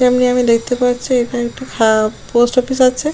এখানে আমি দেখতে পাচ্ছি এটা একটি ফা পোস্ট অফিস আছে।